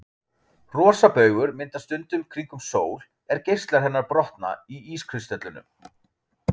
Rosabaugur myndast stundum kringum sól er geislar hennar brotna í ískristöllunum.